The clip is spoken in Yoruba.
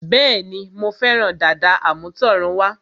Bẹ́ẹ̀ni, Mo fẹ́ràn dàda àmútọ̀runwá